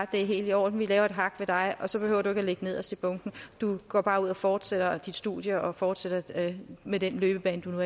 det er helt i orden vi laver et hak ved dig og så behøver du ikke at ligge nederst i bunken du går bare ud og fortsætter dit studie og fortsætter med den løbebane du